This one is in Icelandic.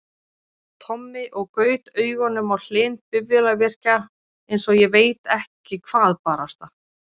Tommi og gaut augunum á Hlyn bifvélavirkja, einsog ég veit ekki hvað barasta!